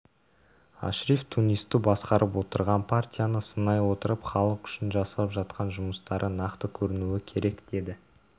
ашриф тунисті басқарып отырған партияны сынай отырып халық үшін жасап жатқан жұмыстары нақты көрінуі керек деді